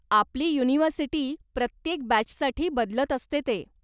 आपली युनिव्हर्सिटी प्रत्येक बॅचसाठी बदलत असते ते.